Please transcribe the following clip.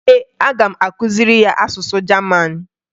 Ee, aga m akụziri ya asụsụ Jaman